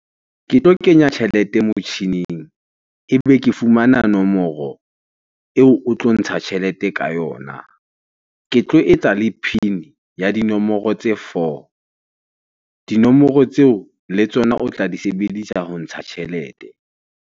Ke tlo kenya tjhelete motjhining ebe ke fumana nomoro eo o tlo ntsha tjhelete ka yona. Ke tlo etsa le PIN ya dinomoro tse four. Dinomoro tseo le tsona o tla di sebedisa ho ntsha tjhelete.